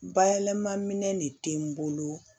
Bayɛlɛma minɛn de tɛ n bolo